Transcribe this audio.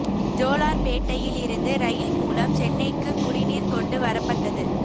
ஜோலார்பேட்டையில் இருந்து ரயில் மூலம் சென்னைக்குக் குடிநீர் கொண்டு வரப்பட்டது